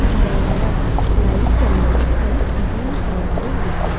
இந்த எடம் light yellow and green கலர்ல இருக்கு.